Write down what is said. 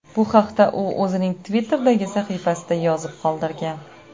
Bu haqda u o‘zining Twitter’dagi sahifasiga yozib qoldirgan .